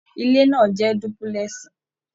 Ilé náà jẹ dúpúlẹ́sì.